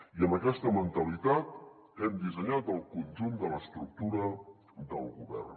i amb aquesta mentalitat hem dissenyat el conjunt de l’estructura del govern